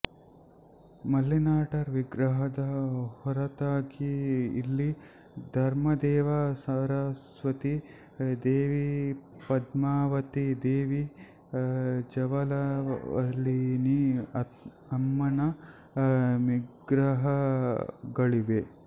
ಮಲ್ಲಿನಾಥರ್ ವಿಗ್ರಹದ ಹೊರತಾಗಿ ಇಲ್ಲಿ ಧರ್ಮದೇವಿ ಸರಸ್ವತಿ ದೇವಿಪದ್ಮಾವತಿ ದೇವಿ ಜವಲವಳಿನಿ ಅಮ್ಮನ್ ವಿಗ್ರಹಗಳಿವೆ